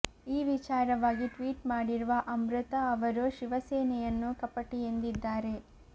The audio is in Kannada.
ಈ ವಿಚಾರವಾಗಿ ಟ್ವೀಟ್ ಮಾಡಿರುವ ಅಮೃತಾ ಅವರು ಶಿವಸೇನೆಯನ್ನು ಕಪಟಿ ಎಂದಿದ್ದಾರೆ